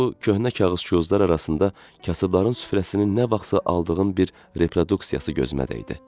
Bu köhnə kağız-qozlar arasında kasıbların süfrəsinin nə vaxtsa aldığım bir reproduksiyası gözümə dəydi.